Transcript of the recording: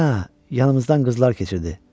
Hə, yanımızdan qızlar keçirdi.